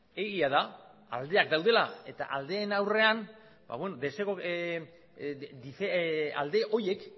egia da aldeak daudela eta aldeen aurrean alde horiek